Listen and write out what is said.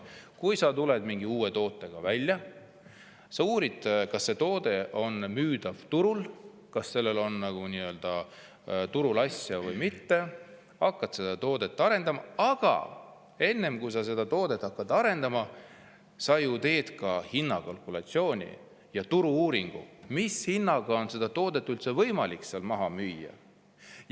Kui sa tuled mingi uue tootega välja, siis sa uurid, kas see toode on turul müüdav, kas sellel on turule asja või mitte, hakkad seda toodet arendama, aga enne kui sa seda toodet hakkad arendama, sa ju teed ka hinnakalkulatsiooni ja turu-uuringu, mis hinnaga on seda toodet üldse võimalik maha müüa.